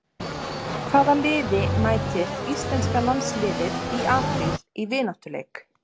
Hvaða liði mætir Íslenska landsliðið í apríl í vináttuleik?